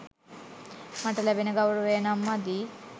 මට ලැබෙන ගෞරවය නම් මදි.